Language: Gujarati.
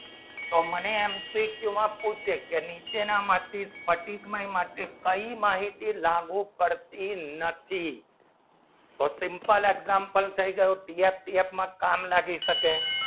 તો મને એમસીક્યુમાં પૂછશે કે નીચેનામાંથી કઈ માહિતી લાગુ પડતી નથી તો simple example કામ લાગી શકે